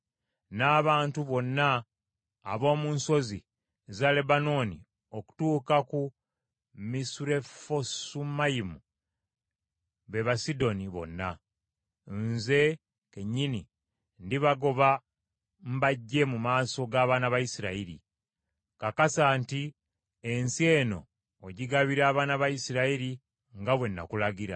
“N’abantu bonna ab’omu nsozi za Lebanooni okutuuka ku Misurefosumayima, be Basidoni bonna; nze kennyini ndibagoba mbaggye mu maaso g’abaana ba Isirayiri. Kakasa nti ensi eno ogigabira abaana ba Isirayiri nga bwe nakulagira.